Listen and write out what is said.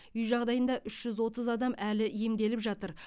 үй жағдайында үш жүз отыз адам әлі емделіп жатыр